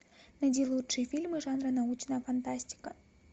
найди лучшие фильмы жанра научная фантастика